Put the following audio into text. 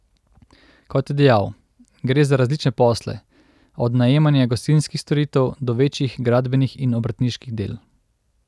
Kot je dejal, gre za različne posle, od najemanja gostinskih storitev do večjih gradbenih in obrtniških del.